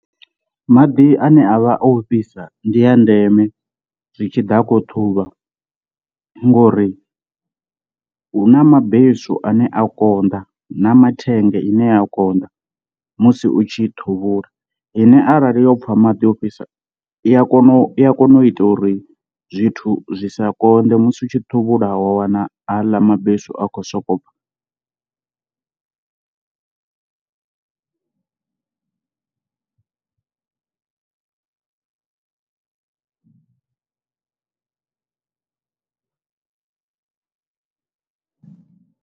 Maḓi ane a vha o fhisa ndi a ndeme zwi tshi ḓa khou ṱhuvha ngori hu na mabesu ane a konḓa na mathenga ine a konḓa musi u tshi ṱhuvhula ine arali yo pfha maḓi ofhisa i ya kona u i a kona u ita uri zwithu zwi sa konḓe musi u tshi thuvhula wa wana haḽa mabesu a khou sokou bva.